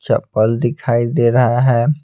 चप्पल दिखाई दे रहा है।